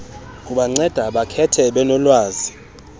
kubanceda bakhethe benolwazi